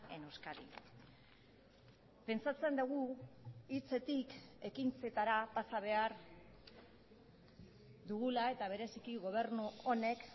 en euskadi pentsatzen dugu hitzetik ekintzetara pasa behar dugula eta bereziki gobernu honek